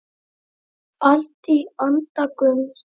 Allt í anda Gumps.